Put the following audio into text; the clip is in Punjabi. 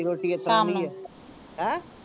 ਹੈ